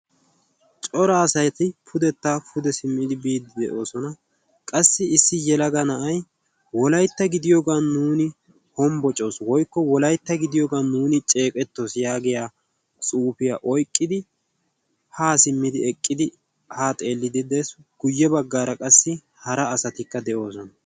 cora asaati pudetta pude simmidi biiddi de'oosona qassi issi yelaga na'ay wolaytta gidiyoogan nuuni hombbocaasu woykko wolaytta gidiyoogan nuuni ceeqettoos yaagiya suufiyaa oyqqidi haa simmidi eqqidi haa xeellidi de'es guyye baggaara qassi hara asatikka de'oosona